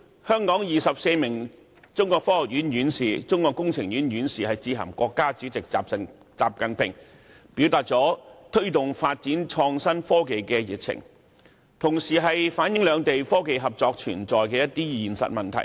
香港24名中國科學院院士、中國工程院院士早前致函國家主席習近平，表達他們對推動創新科技發展的熱情，同時也反映兩地在科技合作方面，面對的一些實際問題。